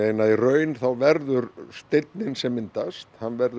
í raun þá verður steinninn sem myndast hann verður